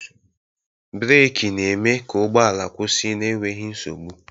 Breeki na-eme ka ụgbọala kwụsị n'enweghi nsogbu.